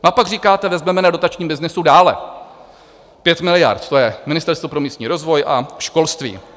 A pak říkáte, vezmeme na dotačním byznysu dále, 5 miliard to je - Ministerstvo pro místní rozvoj a školství.